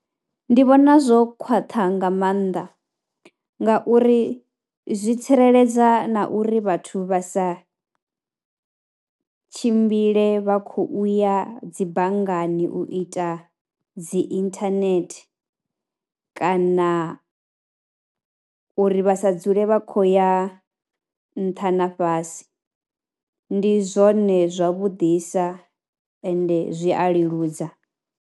Ndi vhona zwo khwaṱha nga maanḓa ngauri zwi tsireledza na uri vhathu vha sa tshimbile vha khou u ya dzi banngani u ita dzi internet kana uri vha sa dzule vha khou ya nṱha na fhasi, ndi zwone zwavhuḓisa ende zwi a leludza.